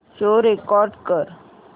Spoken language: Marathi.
शो रेकॉर्ड कर